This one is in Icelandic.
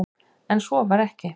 En svo var ekki.